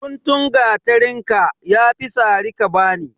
Guntun gateren ka, ya fi sara ka bani.